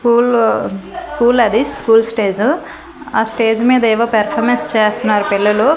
ఊళ్ళో స్కూల్ అది school stage ఆ స్టేజ్ మీద ఏవో పెర్ఫార్మెన్స్ చేస్తనారు పిల్లలు.